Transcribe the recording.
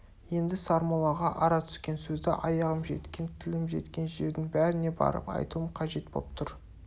енді сармоллаға ара түскен сөзді аяғым жеткен тілім жеткен жердің бәріне барып айтуым қажет боп тұр